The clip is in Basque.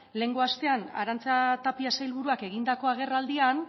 lehenengo astean arantxa tapia sailburuak egindako agerraldian